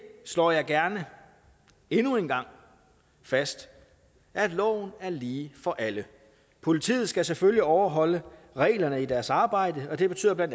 slår jeg gerne endnu en gang fast at loven er lige for alle politiet skal selvfølgelig overholde reglerne i deres arbejde og det betyder bla